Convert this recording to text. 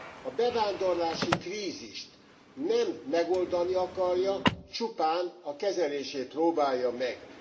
A bevándorlási krízist nem megoldani akarja, csupán a kezelését próbálja meg.